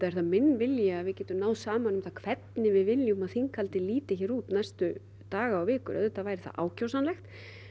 er minn vilji að við getum náð saman um hvernig við viljum að þinghaldið líti hér út næstu daga og vikur auðvitað væri það ákjósanlegt